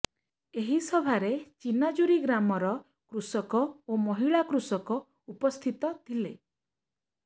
ଏହି ସଭାରେ ଚିନାଜୁରୀ ଗ୍ରାମର କୃଷକ ଓ ମହିଳା କୃଷକ ଉପସ୍ଥିତ ଥିଲେ